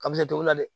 Ka misɛn tobila dɛ